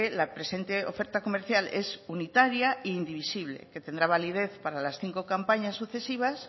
la presente oferta comercial es unitaria e indivisible que tendrá validez para las cinco campañas sucesivas